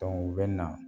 u bɛ na